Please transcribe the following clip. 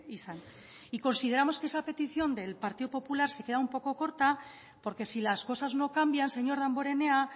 izan y consideramos que esa petición del partido popular se queda un poco corta porque si las cosas no cambian señor damborenea